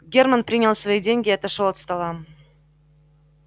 германн принял свои деньги и отошёл от стола